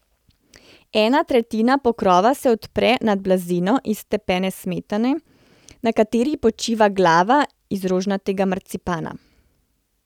Ena tretjina pokrova se odpre nad blazino iz stepene smetane, na kateri počiva glava iz rožnatega marcipana.